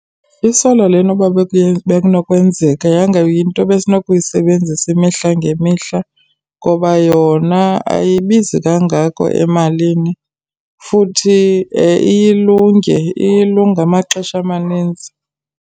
I-solar lena uba bekunokwenzeka yanga yinto besinokuyisebenzisa imihla ngemihla, ngoba yona ayibizi kangako emalini futhi iye ilunge iye ilunge amaxesha amaninzi.